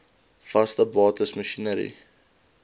vaste bates masjinerie